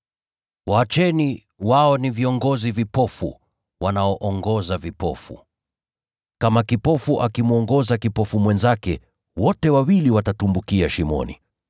Waacheni; wao ni viongozi vipofu, wanaoongoza vipofu. Kama kipofu akimwongoza kipofu mwenzake, wote wawili watatumbukia shimoni.”